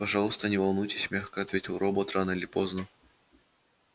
пожалуйста не волнуйтесь мягко ответил робот рано или поздно